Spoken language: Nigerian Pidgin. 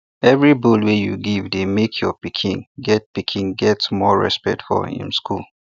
every bull wey you give dey make your pikin get pikin get more respect for um school